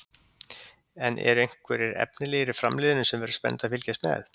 En eru einhverjir efnilegir í Framliðinu sem verður spennandi að fylgjast með?